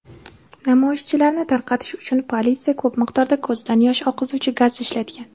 Namoyishchilarni tarqatish uchun politsiya ko‘p miqdorda ko‘zdan yosh oqizuvchi gaz ishlatgan.